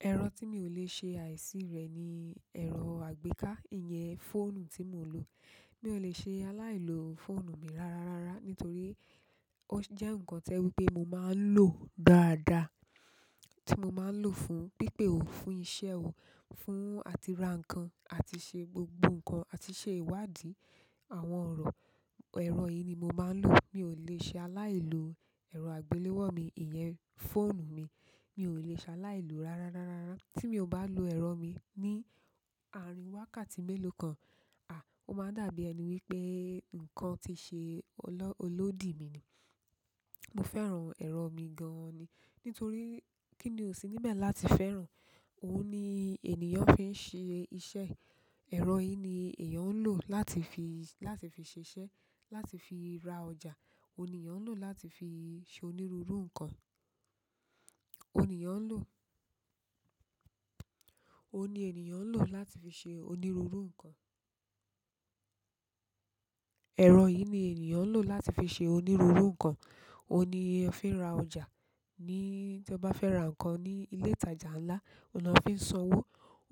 Ero ti mi o le se aisi re ni ero agbeka iyen fóònù ti mo n lo. Mi ò le ṣe aláì lo fóònù mi rara, rara nítorí ó jẹ́ ǹkan tẹ́ wípé mo máa ń lò dáadáa. Tí mo máa ń lò fún pípè o, fún iṣẹ́ o, fún àti ra ǹkan àti ṣe gbogbo ǹkan àti ṣe ìwádìí àwọn ọ̀rọ̀. Ẹ̀rọ yìí ni mo máa ń lò. Mi ò le ṣe aláì lo ẹ̀rọ àgbéléwò mi, ìyẹn fóònù mi. Mi ò le ṣe aláì lo rara, rara, rara. Tí mi ò bá lo ẹ̀rọ mi ní ààrin wákàtí mélòó kan, à, ó máa dàbí ẹni wípé ǹkan ti ṣe olódì mi ni. Mo fẹ́ràn ero mi gan-an ni, nítorí kini o si ni be láti fẹ́ràn. Ó ní ènìyàn fi ń ṣe iṣẹ́ e ẹ̀rọ yìí ni èèyàn ń lò láti fi, láti fi ṣiṣẹ́, láti fi ra ọjà. Óhun ni èèyàn ń lò láti fi ṣe onírúurú ǹkan. Óhun ní èèyàn ń lò. Ó ní ènìyàn ń lò láti fi ṣe onírúurú ǹkan. Ẹ̀rọ yìí ni ènìyàn ń lò láti fi ṣe onírúurú ǹkan. Óhun ní ẹ fi ń ra ọjà. Ni tí ẹ bá fẹ́ ra ǹkan ní ilé ìtajà ńlá, òhun ni wọ́n fi ń sanwó.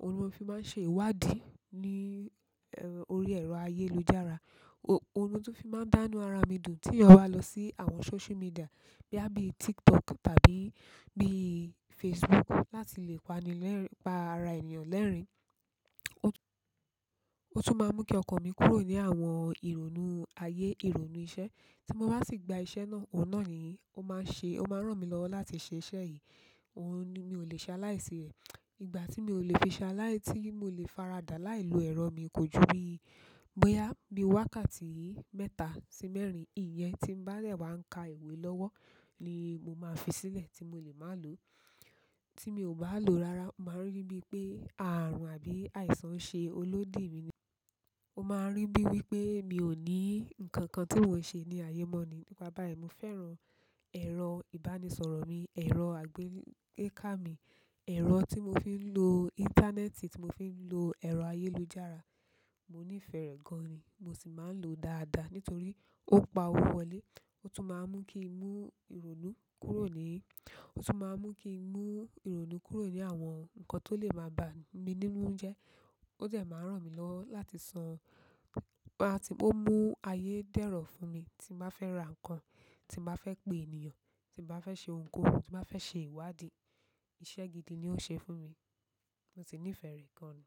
Òun ni wọ́n fi máa ń ṣe ìwádìí ní orí ẹ̀rọ ayélujára. Óhun ni mó tún fi máa ń dáa inú ara mi dùn tí èèyàn bá lọ sí àwọn social media boya bí TikTok tàbí bí Facebook láti lè pani lẹ́rin-- pa ara ènìyàn lẹ́rin. Ó tún, ó tún máa ń mú kí ọkàn mi kúrò ní àwọn ìrònú aye, ìrònú iṣẹ́. Tí mo bá sì gba iṣẹ́ náà, òun náà ni ó máa ń ṣe, ó máa ń ràn mí lọ́wọ́ láti ṣe iṣẹ́ yìí. Òhun ni mi ò lè ṣe aláì sí rẹ̀. Igbati mi o le fi se alai, ti mo le farada láì lo ero mi ko ju bi boya bi wákàtí mẹ́ta si mẹ́rin. Ìyẹn tí ń bá de wá ń ka ìwé lọ́wọ́ ni mo máa fi sílẹ̀ tí mo lè má lò. Tí mi ò bá lò rara, màá rí bíi pé ààrùn àbí àìsàn n ṣe olódì mi ni. Mo maa n ri bi wípé mi o ni nkankan ti mo n se ni aye mo ni nípa báyìí mo fẹ́ràn ẹ̀rọ ìbánisọ̀rọ̀ mi, ẹ̀rọ àgbéká mi, ẹ̀rọ tí mo fi ń lo íńtánẹ́ẹ̀tì, tí mo fi ń lo ẹ̀rọ ayélujára. Mo nífẹ̀ẹ́ rẹ̀ gan ni. Mo sì máa ń lò ó dáadáa nítorí ó n pa owó wọlé. Ó tún máa ń mú kí n mú ìrònú kúrò ní, ó tún máa ń mú kí n mú ìrònú kúrò ní àwọn ǹkan tó le máa bá mi nínú jẹ. Ó de máa ń ràn mí lọ́wọ́ láti san. Máa tí ó mú ayé dẹ́rọ̀ fún mi tí mo bá fẹ́ ra ǹkan, tí mo bá fẹ́ pé ènìyàn, tí mo bá fẹ́ ṣe ohunkóhun, tí mo bá fẹ́ ṣe ìwádìí. Iṣẹ́ gidi ni ó ṣe fún mi. Mo sì nífẹ̀ẹ́ rẹ̀ gan ni.